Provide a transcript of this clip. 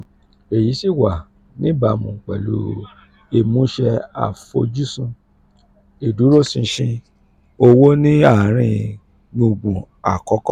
èyí sì wà níbàámu pẹ̀lú ìmúṣẹ àfojúsùn ìdúróṣinṣin owó ní àárín gbùngbùn àkókò.